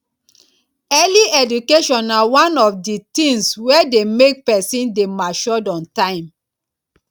early education na one of di things wey de make persin de matured on time